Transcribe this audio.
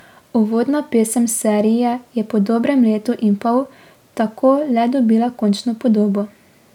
Uvodna pesem serije je po dobrem letu in pol tako le dobila končno podobo.